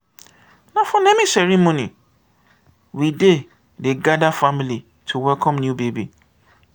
na for naming ceremony we dey dey gather family to welcome new baby.